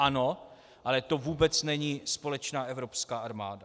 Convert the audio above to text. Ano, ale to vůbec není společná evropská armáda.